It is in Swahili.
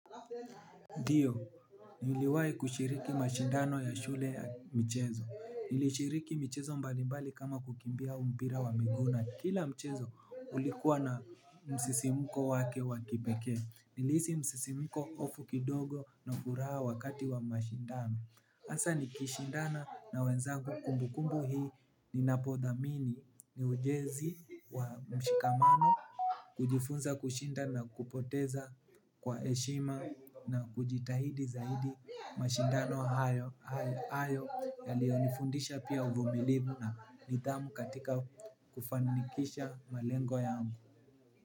Dio, niliwai kushiriki mashindano ya shule mchezo. Nilishiriki michezo mbalimbali kama kukimbia umpira wa miguu na kila mchezo ulikuwa na msisimuko wake wakipekee. Nilihisi msisimuko ofu kidogo na furaha wakati wa mashindano. Asa nikishindana na wenzangu kumbu kumbu hii. Ninapodhamini ni ujezi wa mshikamano. Kujifunza kushinda na kupoteza kwa eshima na kujitahidi zaidi mashindano hayo yalionifundisha pia uvumilibu na nidhamu katika kufanikisha malengo yangu.